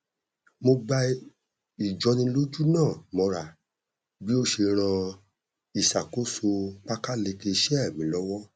mo gba ìjọnilójú náà mọra bí ó ṣe ràn ìṣàkóso pákáleke iṣẹ mí lọwọ